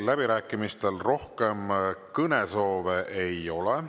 Läbirääkimistel rohkem kõnesoove ei ole.